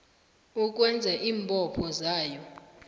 ukwenza iimbopho zayo